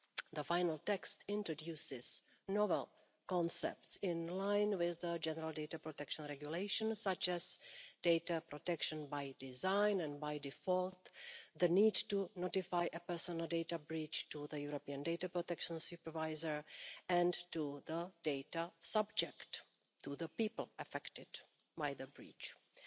The final text introduces novel concepts in line with the General Data Protection Regulation such as data protection by design and by default, the need to notify a personal data breach to the European Data Protection Supervisor and to the data subject the people affected by the breach and